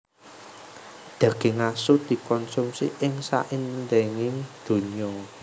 Daging asu dikonsumi ing saindenging donya